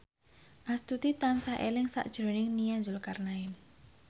Astuti tansah eling sakjroning Nia Zulkarnaen